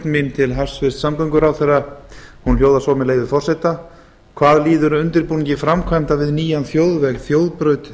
mín til hæstvirts samgönguráðherra hljóðar svo með leyfi forseta hvað líður undirbúningi framkvæmda við nýjan þjóðveg